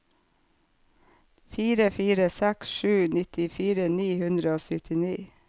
fire fire seks sju nittifire ni hundre og syttini